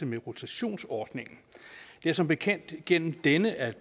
med rotationsordningen det er som bekendt igennem denne at